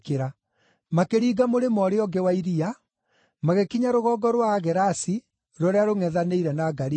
Makĩringa mũrĩmo ũrĩa ũngĩ wa iria, magĩkinya rũgongo rwa Agerasi rũrĩa rũngʼethanĩire na Galili.